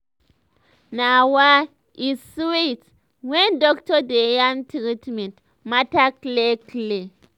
na wa! e sweet when doctor dey yarn treatment matter clear clear